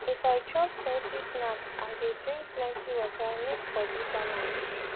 if i chop salty snack i dey drink plenty water make body balance